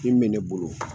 Min bɛ ne bolo